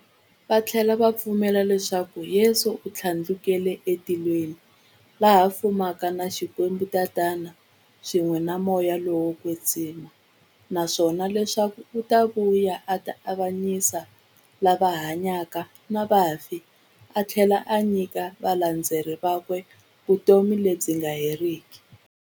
Vathlela va pfumela leswaku Yesu u thlandlukele e matilweni, laha a fumaka na Xikwembu-Tatana, swin'we na Moya lowo kwetsima, naswona leswaku u ta vuya a ta avanyisa lava hanyaka na vafi athlela a nyika valandzeri vakwe vutomi lebyi nga heriki.